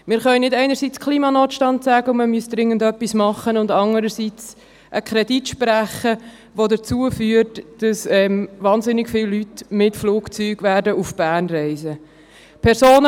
Wir können nicht einerseits von Klimanotstand sprechen und man müsse dringend etwas tun und andererseits einen Kredit sprechen, der dazu führt, dass wahnsinnig viele Leute mit dem Flugzeug nach Bern reisen werden.